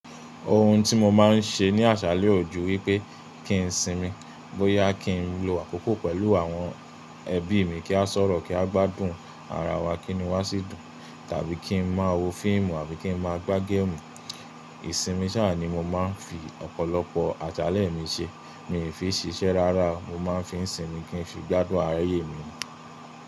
Ohun tí mo máa ń ṣe ní àṣálẹ́ ò jù wípé kí n sinmi, bóyá kí n lo àkókò pẹ̀lú àwọn ẹbí mi kí a sọ̀rọ̀ kí a gbádùn ara wa, kí inu wá sì dùn, tàbí kí n máa wo fíìmù àbí kí n máa gbá géèmù. Ìsinmi ṣáà ni mo máa ń fi ọ̀pọ̀lọpọ̀ àṣálẹ́ mi ṣe. Mi ò fi ń ṣiṣẹ́ rárá, mo máa ń fi ń sinmi kí n fi gbádùn ayé mi.